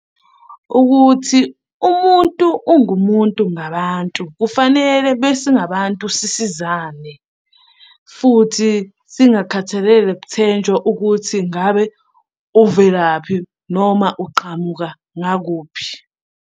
Ukuthi umuntu ungumuntu ngabantu kufanele besingabantu sisizane, futhi singakhathalele kuthenjwa ukuthi ngabe uvelaphi noma uqhamuka ngakuphi.